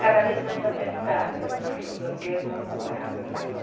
Cada vez mais apertada, porque os aluguéis não acompanhavam a inflação.